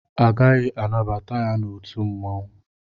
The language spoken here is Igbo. Agaghị anabata ya n'otu mmanwụ.